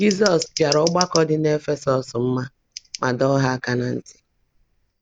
Jizọs jara ọgbakọ dị n’Efesọs mma ma dọọ ha aka ná ntị.